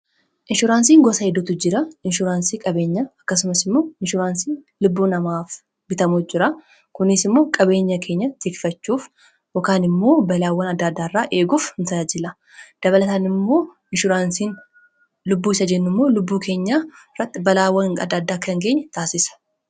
Inshuraansii gosa gara garaatu jiru. Isaanis faayidaa olaanaa qabu.